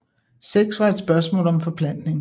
Sex var et spørgsmål om forplantning